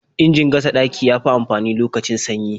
Injin gasa ɗaki ya fi amfani lokacin sanyi.